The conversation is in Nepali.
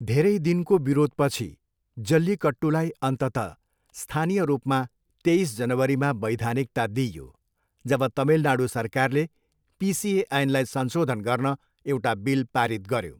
धेरै दिनको विरोधपछि, जल्लिकट्टुलाई अन्ततः स्थानीय रूपमा तेइस जनवरीमा वैधानिकता दिइयो, जब तमिलनाडू सरकारले पिसिए ऐनलाई संशोधन गर्न एउटा बिल पारित गर्यो।